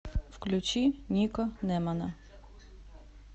включи нико немана